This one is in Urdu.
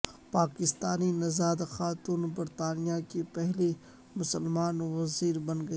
پاکستانی نژاد خاتون برطانیہ کی پہلی مسلمان وزیر بن گئیں